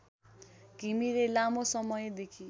घिमिरे लामो समयदेखि